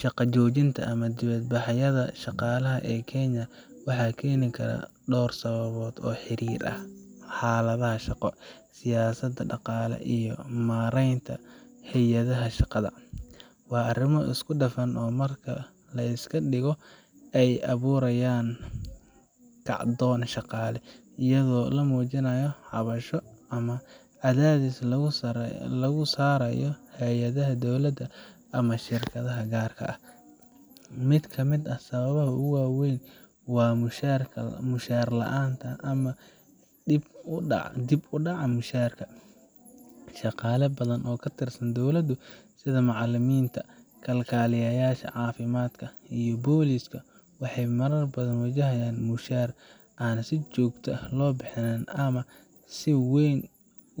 Shaqa joojinta ama dibadbaxyada shaqaalaha ee Kenya waxa keeni kara dhowr sababood oo la xiriira xaaladaha shaqo, siyaasadda, dhaqaalaha, iyo maaraynta hay’adaha shaqada. Waa arrimo isku dhafan oo marka la iska dhigo ay abuurayaan kacdoon shaqaale, iyadoo la muujinayo cabasho ama cadaadis lagu saarayo hay’adaha dowladda ama shirkadaha gaarka ah. Mid ka mid ah sababaha ugu waaweyn waa mushahar la’aan ama dib u dhaca mushaharka. Shaqaale badan oo ka tirsan dowladdu, sida macallimiinta, kalkaaliyeyaasha caafimaadka, iyo booliiska, waxay marar badan wajahayaan mushahar aan si joogto ah loo bixin ama si weyn